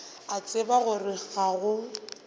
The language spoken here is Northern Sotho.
a tseba gore ga go